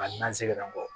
A n'an sɛgɛn na o